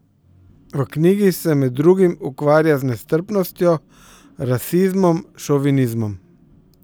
V knjigi se med drugim ukvarja z nestrpnostjo, rasizmom, šovinizmom.